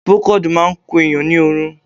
Procold máà ń kun èèyàn ni oorun.